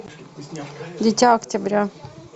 дитя октября